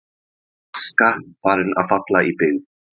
Aska farin að falla í byggð